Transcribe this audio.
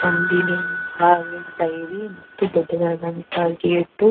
ನಂದಿನಿ ಹಾಲಿನ ಡೈರಿ ಮತ್ತು ದೊಡ್ಡದಾದಂತಹ ಗೇಟು .